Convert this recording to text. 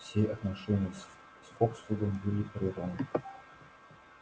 все отношения с фоксвудом были прерваны